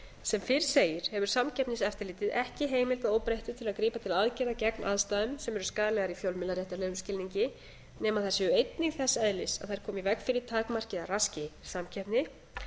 sem fyrr segir hefur samkeppniseftirlitið ekki heimild að óbreyttu til að grípa til aðgerða gegn aðstæðum sem eru skaðlegar í fjölmiðlaréttarlegum skilningi nema þær séu einnig þess eðlis að þær komi í veg fyrir takmarki eða raski samkeppni